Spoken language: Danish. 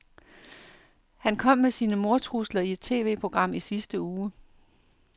Han kom med sine mordtrusler i et TVprogram i sidste uge.